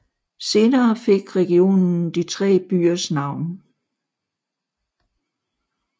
Senere fik regionen de tre byers navn